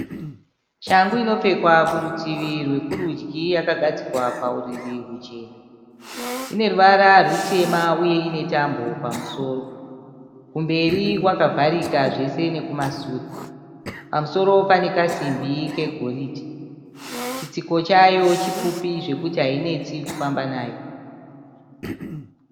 Shangu inopfekwa kurutivi rwekurudyi yakagadzikwa pauriri huchena. lne ruvara rutema uye ine tambo pamusoro. Kumberi kwakavharika zvese nekumasure. Pamusoro pane kasimbi kegoridhe. Chitsiko chayo chipfupi zvekuti hainetsi kufamba nayo.